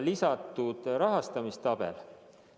Lisatud on ka rahastamistabel.